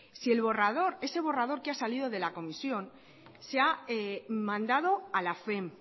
si ese borrador que ha salido de la comisión se ha mandado a la fem